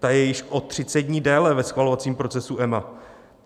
Ta je již o 30 dní déle ve schvalovacím procesu EMA.